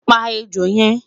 pa ẹjọ yen